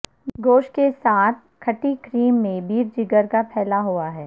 گوشت کے ساتھ ھٹی کریم میں بیف جگر کا پھیلا ہوا ہے